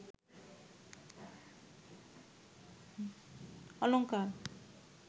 অলংকার